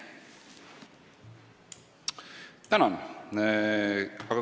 Tänan!